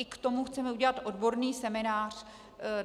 I k tomu chceme udělat odborný seminář.